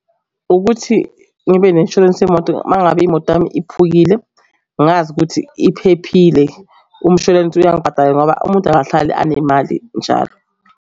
Ukuthi ngibe ne-inshwarensi yemoto uma ngabe imoto yami iphukile, ngazi ukuthi iphephile. Umshwalense uyangibhatala ngoba umuntu akahlali anemali njalo.